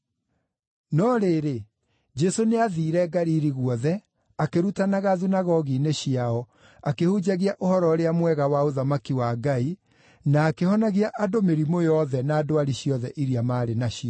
No rĩrĩ, Jesũ nĩathiire Galili guothe, akĩrutanaga thunagogi-inĩ ciao, akĩhunjagia Ũhoro-ũrĩa-Mwega wa ũthamaki wa Ngai, na akĩhonagia andũ mĩrimũ yothe na ndwari ciothe iria maarĩ nacio.